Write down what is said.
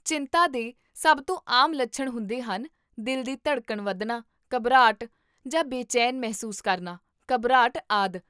ਚਿੰਤਾ ਦੇ ਸਭ ਤੋਂ ਆਮ ਲੱਛਣ ਹੁੰਦੇ ਹਨ ਦਿਲ ਦੀ ਧੜਕਣ ਵਧਣਾ, ਘਬਰਾਹਟ ਜਾਂ ਬੇਚੈਨ ਮਹਿਸੂਸ ਕਰਨਾ, ਘਬਰਾਹਟ, ਆਦਿ